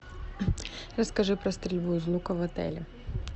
расскажи про стрельбу из лука в отеле